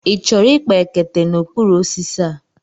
Ị chọrọ ịkpa ekete n'okpuru osisi a?